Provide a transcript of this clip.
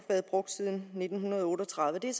været brugt siden nitten otte og tredive lige